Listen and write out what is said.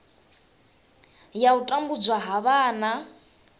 ya u tambudzwa ha vhana